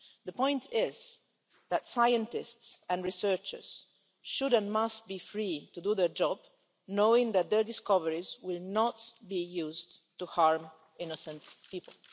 The point is that scientists and researchers should and must be free to do their job, knowing that their discoveries will not be used to harm innocent people.